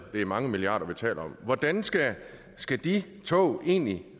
det er mange milliarder vi taler om hvordan skal skal de tog egentlig